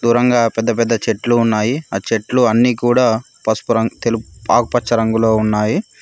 దూరంగా పెద్ద పెద్ద చెట్లు ఉన్నాయి ఆ చెట్లు అన్నీ కూడా పసుపు రంగు తెలుపు ఆకుపచ్చ రంగులో ఉన్నాయి.